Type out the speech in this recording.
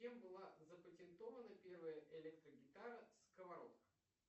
кем была запатентована первая электрогитара сковородка